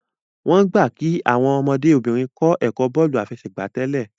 wón gbà kí Àwọn ọmọdé obìnrin kò ẹkọ bóòlù àfẹsẹ̀gbá tèlé